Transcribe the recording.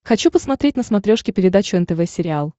хочу посмотреть на смотрешке передачу нтв сериал